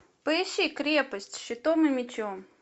поищи крепость щитом и мечом